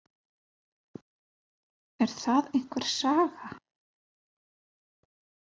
Er það einhver saga?